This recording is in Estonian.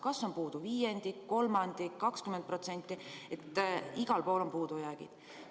Kas on puudu viiendik, kolmandik, 20% – igal pool on puudujäägid.